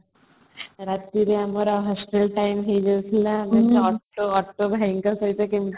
ରାତିରେ ଆମର hostel time ହେଇଯାଉଥିଲା ପୁଣି ଅଟୋ ଭାଇଙ୍କ ସହ କେମିତି